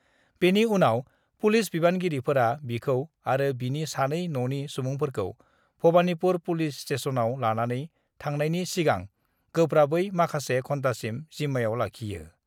बेनि उनाव पुलिस बिबानगिरिफोरा बिखौ आरो बिनि सानै न'नि सुबुंफोरखौ भबानिपुर पुलिस स्टेसनआव लानानै थांनायनि सिगां गोब्राबै माखासे घन्टासिम जिम्मायाव लाखियो।